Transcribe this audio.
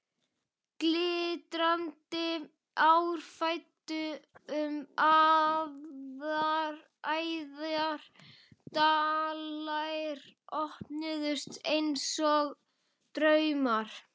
Glitrandi ár flæddu um æðar, dalir opnuðust einsog draumar.